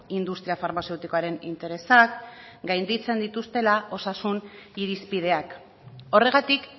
industria farmazeutikoaren interesak gainditzen dituztela osasun irizpideak horregatik